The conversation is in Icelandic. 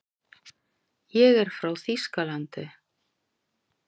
Ég er frá Þýskalandi.